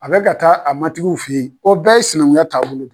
A bɛ ka taa a matigiw fɛ yen , o bɛɛ ye sinankuya taabolo ye.